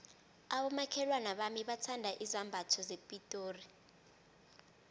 abomakhelwana bami bathanda izambatho zepitori